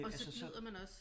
Og så glider man også